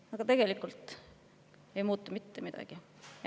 Aga tegelikult ei muutu mitte midagi.